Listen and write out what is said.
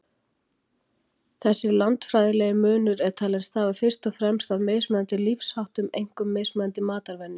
Þessi landfræðilegi munur er talinn stafa fyrst og fremst af mismunandi lífsháttum, einkum mismunandi matarvenjum.